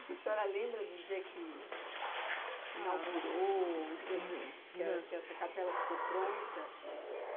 A senhora lembra do dia que inaugurou, o dia que essa capela ficou pronta?